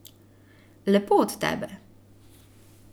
Lepo od tebe.